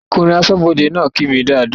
Ọkùnrin aṣọ́bọdè náà kí mi dáadáa